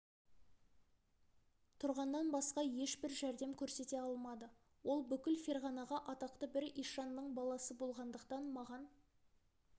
тұрғаннан басқа ешбір жәрдем көрсете алмады ол бүкіл ферғанаға атақты бір ишанның баласы болғандықтан маған